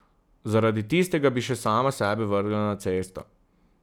Zaradi tistega bi še sama sebe vrgla na cesto.